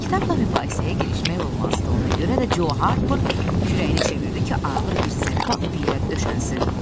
Kitabla mübahisəyə girişmək olmazdı, ona görə də Co Harper kürəyini çevirdi ki, ağır bir zərbə alıb yerə döşənsin.